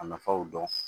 A nafaw dɔn